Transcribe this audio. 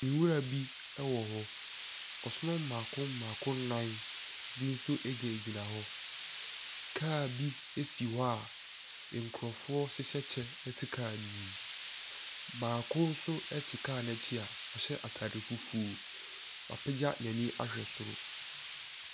Nwura bi wɔhɔ. Ɔsono mmaako mmaako nan bi nso gyinagyina hɔ. Car bi si hɔ a nkrɔfoɔ hyehyɛ kyɛ te car no mu. Baako nso te car no akyi a ɔhyɛ attaade fufuo. Wapegya ne n'ani ahwɛ soro.